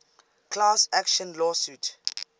class action lawsuit